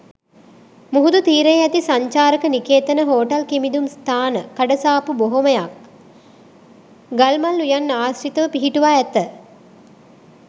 මුහුදු තීරයේ ඇති සංචාරක නිකේතන හෝටල් කිමිදුම් ස්ථාන කඩ සාප්පු බොහොමයක් ගල්මල් උයන් ආශ්‍රීතව පිහිටුවා ඇත.